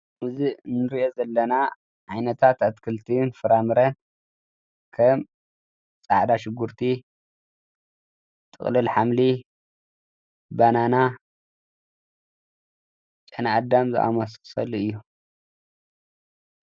እዚ እንሪኦ ዘለና ዓይነታት አትክልቲን ን ፍራምረን ከም ፃዕዳ ሽጉርቲ ፣ጥቅሉል ሓምሊ ፣ ባናና፣ ጨና አዳም ዝአመሳስሉ እዮም።